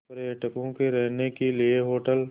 पर्यटकों के रहने के लिए होटल